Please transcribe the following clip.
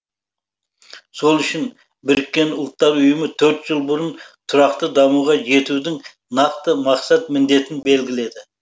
сол үшін біріккен ұлттар ұйымы төрт жыл бұрын тұрақты дамуға жетудің нақты мақсат міндетін белгіледі